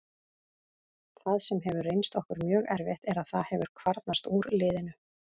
Það sem hefur reynst okkur mjög erfitt er að það hefur kvarnast úr liðinu.